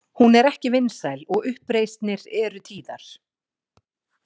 Hún er ekki vinsæl og uppreisnir eru tíðar.